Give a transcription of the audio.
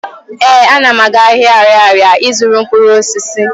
Ee, ana m aga ahịa Arịarịa ị zụrụ mkpụrụosisi.